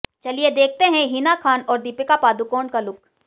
चलिए देखते है हिना खान और दीपिका पादुकोण का लुक